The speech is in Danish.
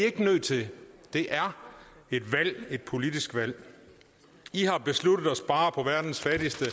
ikke nødt til det er et valg et politisk valg i har besluttet at spare på verdens fattigste